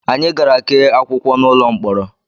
Anyị gara kee akwụkwọ n'ụlọ mkpọrọ